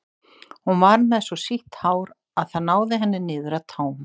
hún var með svo sítt hár að það náði henni niður að tám